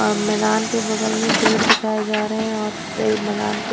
ओर मैदान के बगल में पेड़ दिखाये जा रहे है और मैदान के--